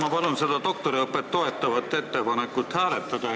Ma palun seda doktoriõpet toetavat ettepanekut hääletada!